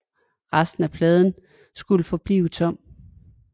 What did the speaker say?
Resten af pladsen skulle forblive tom